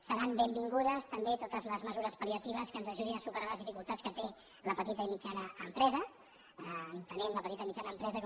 seran benvingudes també totes les mesures pal·liatives que ens ajudin a superar les dificultats que té la petita i mitjana empresa entenent la petita i mitjana empresa com